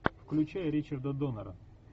включай ричарда доннера